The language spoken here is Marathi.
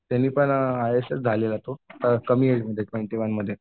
त्यांनी पण आय ए एस झालेला तो कमी एज मध्ये ट्वेन्टी वनमध्ये